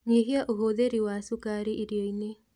Nyihia ũhũthĩri wa cukari irio-inĩ